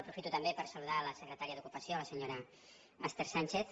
aprofito també per saludar la secretaria d’ocupació la senyora esther sánchez